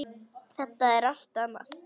Það er allt annað.